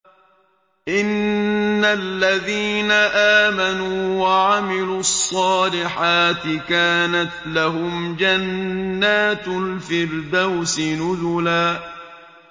إِنَّ الَّذِينَ آمَنُوا وَعَمِلُوا الصَّالِحَاتِ كَانَتْ لَهُمْ جَنَّاتُ الْفِرْدَوْسِ نُزُلًا